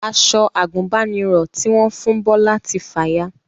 Aṣọ àgùnbánirọ̀ tí wọ́n fún Bọlá ti fàya